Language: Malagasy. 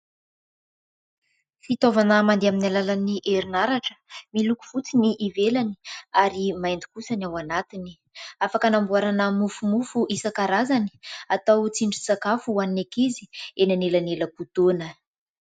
Fitaovana mandeha amin'ny alalan'ny herin'aratra. Miloko fotsy ny ivelany ary maintso kosa ny ao anatiny. Afaka anamboarana mofomofo isankarazany. Atao tsindry sakafo ho an'ny ankizy eny elanelam-potoana.